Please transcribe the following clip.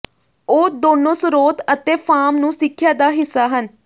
ਉਹ ਦੋਨੋ ਸਰੋਤ ਅਤੇ ਫਾਰਮ ਨੂੰ ਸਿੱਖਿਆ ਦਾ ਹਿੱਸਾ ਹਨ